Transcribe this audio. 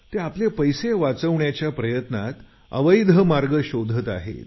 ते आपले पैसे वाचवण्याच्या प्रयत्नात अवैध मार्ग शोधत आहेत